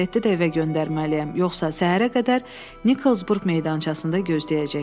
Zerletti də evə göndərməliyəm, yoxsa səhərə qədər Niksburg meydançasında gözləyəcək.